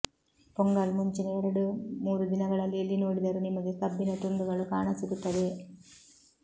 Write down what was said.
ಪೊಂಗಲ್ ಮುಂಚಿನ ಎರಡು ಮೂರು ದಿನಗಳಲ್ಲಿ ಎಲ್ಲಿ ನೋಡಿದರೂ ನಿಮಗೆ ಕಬ್ಬಿನ ತುಂಡುಗಳು ಕಾಣಸಿಗುತ್ತವೆ